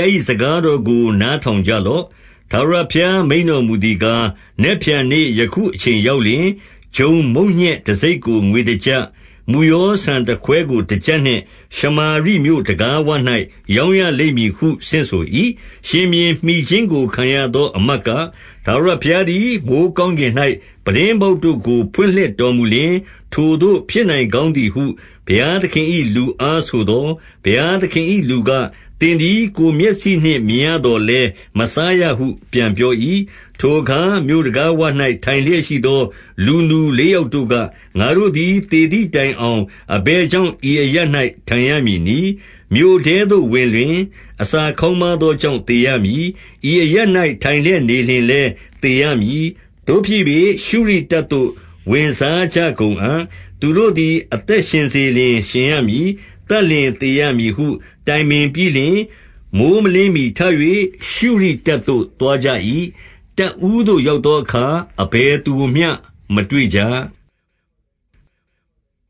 ား၏ စကားတော်ကို နားထောင်ကြလော့။ ထာဝရဘုရားမိန့်တော်မူသည်ကား၊ နက်ဖြန်နေ့ယခုအချိန်ရောက်လျှင်၊ ဂျုံမုန့်ညက်တစိတ်ကို ငွေတကျပ်၊ မုယောဆန်တခွဲကို တကျပ်နှင့် ရှမာရိ မြို့တံခါးဝ၌ ရောင်းရလိမ့်မည်ဟု ဆင့်ဆို၏။ 2 ရှင်ဘုရင်မှီခြင်းကို ခံရသောအမတ်က၊ ထာဝရ ဘုရားသည် မိုဃ်းကောင်းကင်၌ ပြတင်းပေါက်တို့ကို ဖွင့်လှစ်တော်မူလျှင်၊ ထိုသို့ဖြစ်နိုင်ကောင်းသည်ဟု ဘုရား သခင်၏လူအားဆိုသော်၊ ဘုရားသခင်၏လူက၊ သင်သည် ကိုယ်မျက်စိနှင့် မြင်ရသော်လည်း မစားရဟု ပြန်ပြော၏။ 3 ထိုအခါမြို့တံခါးဝ၌ ထိုင်လျက်ရှိသောလူနူ လေးယောက်တို့က၊ ငါတို့သည် သေသည်တိုင်အောင် အဘယ်ကြောင့် ဤအရပ်၌ ထိုင်ရမည်နည်း။ 4 မြို့ထဲသို့ဝင်လျှင် အစာခေါင်းပါးသောကြောင့် သေရမည်။ ဤအရပ်၌ ထိုင်လျက်နေလျှင်လည်း သေရ မည်။ သို့ဖြစ်၍ ရှုရိတပ်သို့ ဝင်စားကြကုန်အံ့။ သူတို့သည် အသက်ရှင်စေလျှင်ရှင်ရမည်။ သတ်လျှင် သေရမည်ဟု တိုင်ပင်ပြီးလျှင်၊ 5 မိုဃ်းမလင်းမှီထ၍ ရှုရိတပ်သို့သွားကြ၏။ တပ်ဦးသို့ ရောက်သောအခါ အဘယ်သူကိုမျှ မတွေ့ကြ။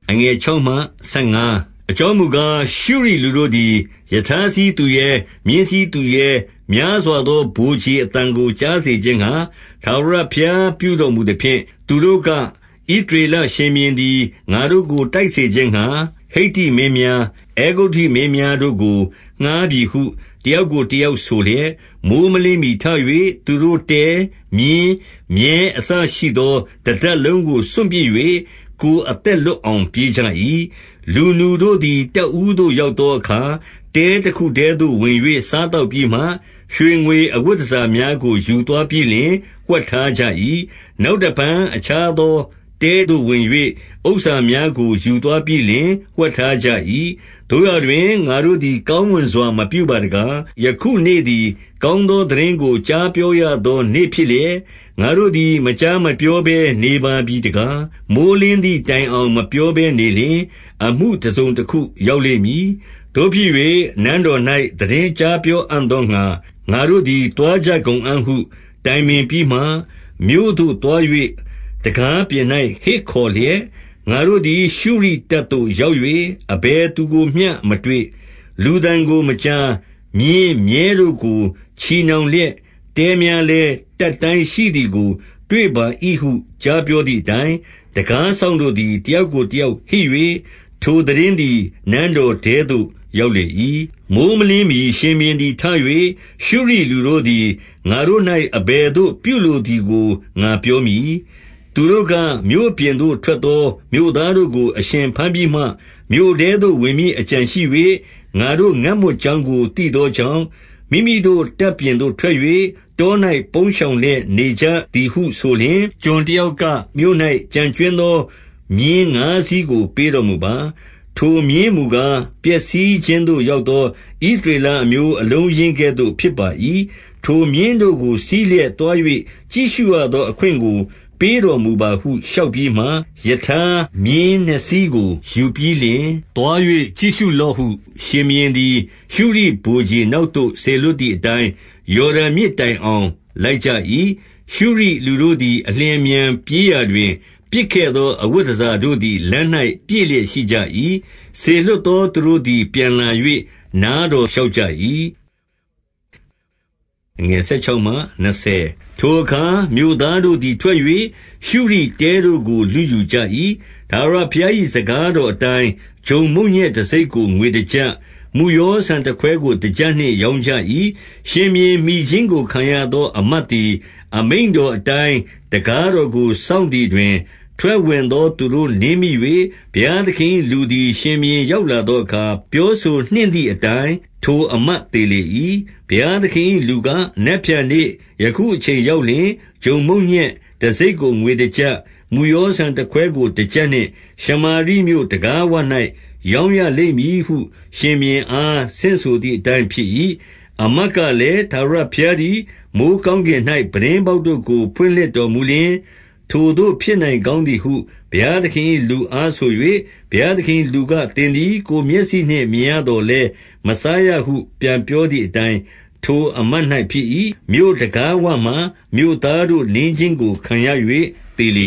6 အကြောင်းမူကား၊ ရှုရိလူတို့သည်ရထားစီးသူရဲ၊ မြင်းစီးသူရဲ၊ များစွာသော ဗိုလ်ခြေအသံကိုကြားစေခြင်း ငှါ၊ ထာဝရဘုရားပြုတော်မူသဖြင့် သူတို့ကဣသရေလ ရှင်ဘုရင်သည် ငါတို့ကိုတိုက်စေခြင်းငှါ၊ ဟိတ္တိမင်းများ၊ အဲဂုတ္တုမင်းများတို့ကို ငှါးပြီဟု တယောက်ကိုတယောက် ဆိုလျက်၊ 7 မိုဃ်းမလင်းမှီထ၍သူတို့တဲ၊ မြင်း၊ မြည်းအစ ရှိသော တတပ်လုံးကို စွန့်ပစ်၍ ကိုယ်အသက်လွတ် အောင် ပြေးကြ၏။ 8 လူနူတို့သည် တပ်ဦးသို့ ရောက်သောအခါ၊ တဲတခုထဲသို့ဝင်၍ စားသောက်ပြီးမှ၊ ရွှေငွေအဝတ် တန်ဆာများကို ယူသွားပြီးလျှင် ဝှက်ထားကြ၏။ နောက် တဖန် အခြားသောတဲသို့ဝင်၍၊ ဥစ္စာများကို ယူသွားပြီး လျှင် ဝှက်ထားကြ၏။ 9 သို့ရာတွင်၊ ငါတို့သည်ကောင်းမွန်စွာ မပြုပါ တကား။ ယခုနေ့သည် ကောင်းသော သိတင်းကို ကြားပြောရသော နေ့ဖြစ်လျက်၊ ငါတို့သည် မကြားမပြော ဘဲ နေပါပြီတကား။ မိုဃ်းလင်းသည်တိုင်အောင် မပြောဘဲ နေလျှင် အမှုတစုံတခုရောက်လိမ့်မည်။ သို့ဖြစ်၍ နန်းတော်၌ သိတင်းကြားပြောအံ့သောငှါ ငါတို့သည် သွားကြကုန်အံ့ဟု တိုင်ပင်ပြီးမှ၊ 10 မြို့သို့သွား၍ တံခါးပြင်၌ ဟစ်ခေါ်လျက်၊ ငါတို့ သည် ရှုရိတပ်သို့ ရောက်၍ အဘယ်သူကိုမျှ မတွေ့။ လူသံကိုမကြား။ မြင်း၊ မြည်းတို့ကို ချည်နှောင်လျက်၊ တဲများလည်း တတ်တိုင်းရှိသည်ကိုတွေ့ပါ၏ဟု ကြားပြော သည်အတိုင်း၊ 11 တံခါးစောင့်တို့သည် တယောက်ကိုတယောက် ဟစ်၍၊ ထိုသိတင်းသည် နန်းတော်ထဲသို့ ရောက်လေ၏။ 12 မိုဃ်းမလင်းမှီ ရှင်ဘုရင်သည်ထ၍၊ ရှုရိလူတို့ သည် ငါတို့၌ အဘယ်သို့ ပြုလိုသည်ကို ငါပြောမည်။ သူတို့က မြို့ပြင်သို့ထွက်သော မြို့သားတို့ကို အရှင် ဘမ်းပြီးမှ၊ မြို့ထဲသို့ ဝင်မည်အကြံရှိ၍၊ ငါတို့ငတ်မွတ် ကြောင်းကို သိသောကြောင့်၊ မိမိတို့တပ်ပြင်သို့ထွက်၍ တော၌ ပုန်းရှောင်လျက် နေကြသည်ဟုဆိုလျှင်၊ 13 ကျွန်တယောက်က၊ မြို့၌ ကျန်ကြွင်းသော မြင်း ငါးစီးကို ပေးတော်မူပါ။ ထိုမြင်းမူကား ပျက်စီးခြင်းသို့ ရောက်သော ဣသရေလအမျိုးအလုံးအရင်းကဲ့သို့ ဖြစ်ပါ ၏။ ထိုမြင်းတို့ကို စီးလျက်သွား၍ ကြည့်ရှုရသော အခွင့်ကို ပေးတော်မူပါဟုလျှောက်ပြီးမှ၊ 14 ရထားမြင်းနှစ်စီးကို ယူပြီးလျှင် သွား၍ကြည့်ရှု လော့ဟု ရှင်ဘုရင်သည် ရှုရိဗိုလ်ခြေနောက်သို့ စေလွှတ် သည်အတိုင်း၊ 15 ယော်ဒန်မြစ်တိုင်အောင် လိုက်ကြ၏။ ရှုရိလူတို့ သည် အလျင်အမြန်၊ ပြေးရာတွင်၊ ပစ်ခဲ့သော အဝတ် တန်ဆာတို့သည် လမ်း၌ပြည့်လျက် ရှိကြ၏။ စေလွှတ် သူတို့သည် ပြန်လာ၍ နားတော်လျှောက်ကြ၏။ 16 ထိုအခါမြို့သားတို့သည် ထွက်၍ ရှုရိတဲတို့ကို လုယူကြ၏။ ထာဝရဘုရား၏ စကားတော်အတိုင်း၊ ဂျုံမုန့်ညက်တစိတ်ကို ငွေတကျပ်၊ မုယောဆန်တခွဲကို တကျပ်နှင့် ရောင်းကြ၏။ 17 ရှင်ဘုရင်မှီခြင်းကိုခံရသော အမတ်သည်၊ အမိန့်တော်တိုင်း တံခါးတော်ကို စောင့်သည်တွင်၊ ထွက်ဝင်သောသူတို့ နင်းမိ၍ ဘုရားသခင်၏လူသည် ရှင်ဘုရင် ရောက်လာသောအခါ ပြောဆိုနှင့်သည် အတိုင်း၊ ထိုအမတ်သေလေ၏။ 18 ဘုရားသခင်၏ လူက၊ နက်ဖြန်နေ့ယခုအချိန် ရောက်လျှင်၊ ဂျုံမုန့်ညက်တစိတ်ကို ငွေတကျပ်၊ မုယော ဆန်တခွဲကို တကျပ်နှင့် ရှမာရိမြို့တံခါးဝ၌ ရောင်းရလိမ့် မည်ဟု ရှင်ဘုရင်အား ဆင့်ဆိုသည်အတိုင်း ဖြစ်၏။ 19 အမတ်ကလည်း၊ ထာဝရဘုရားသည် မိုဃ်း ကောင်းကင်၌ ပြတင်းပေါက်တို့ကို ဖွင့်လှစ်တော်မူလျှင်၊ ထိုသို့ဖြစ်နိုင်ကောင်းသည်ဟု ဘုရားသခင်၏ လူအား ဆို၍၊ ဘုရားသခင်၏လူက သင်သည်ကိုယ်မျက်စိနှင့် မြင်ရသော်လည်း မစားရဟုပြန်ပြောသည် အတိုင်း၊ 20 ထိုအမတ်၌ ဖြစ်၏။ မြို့တံခါးဝမှာမြို့သားတို့ နင်းခြင်းကို ခံရ၍သေလေ